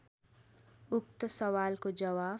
उक्त सवालको जवाफ